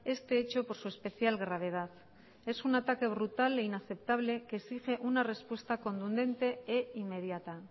este hecho por su especial gravedad es un ataque brutal e inaceptable que exige una respuesta contundente e inmediata